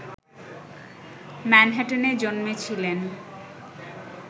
ম্যানহাটানে জন্মেছিলেন